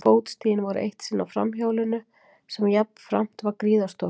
Fótstigin voru eitt sinn á framhjólinu sem jafnframt var gríðarstórt.